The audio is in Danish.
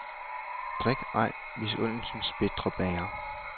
Drik ej misundelsens bitre bæger.